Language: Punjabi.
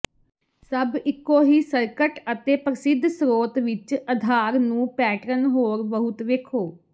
ਸਭ ਇੱਕੋ ਹੀ ਸਰਕਟ ਅਤੇ ਪ੍ਰਸਿੱਧ ਸਰੋਤ ਵਿੱਚ ਅਧਾਰ ਨੂੰ ਪੈਟਰਨ ਹੋਰ ਬਹੁਤ ਵੇਖੋ